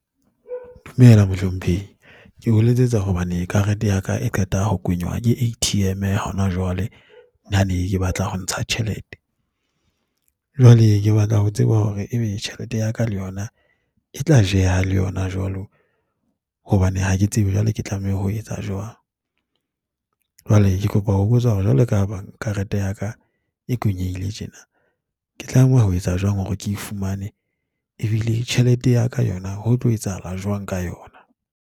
Dumela, mohlomphehi. Ke o letsetsa hobane karete ya ka e qeta ho kwenywa ke A_T_M hona jwale, nna ne ke batla ho ntsha tjhelete. Jwale ke batla ho tseba hore e be tjhelete ya ka le yona e tla jeha le yona jwalo, hobane ha ke tsebe jwale ke tlameha ho etsa jwang. Jwale, ke kopa ho botsa hore jwalo ka bang karete ya ka e kwenyehile tjena, ke tlameha ho etsa jwang hore ke e fumane ebile tjhelete ya ka yona ho tlo etsahala jwang ka yona?